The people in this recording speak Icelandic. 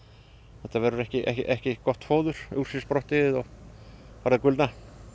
þetta verður ekki ekki gott fóður úr sér sprottið og farið að gulna